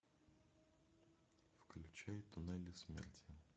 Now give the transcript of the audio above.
включай туннели смерти